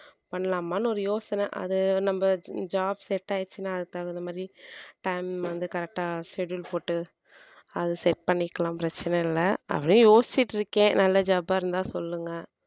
பண்ணலாமான்னு ஒரு யோசனை அது நம்ம job set ஆயிடுச்சுன்னா அதுக்குத் தகுந்த மாதிரி time வந்து correct ஆ schedule போட்டு அது set பண்ணிக்கலாம் பிரச்சனை இல்லை அப்படியே யோசிச்சுட்டு இருக்கேன் நல்ல job ஆ இருந்தா சொல்லுங்க